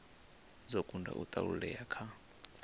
dzo kunda u thasululea kha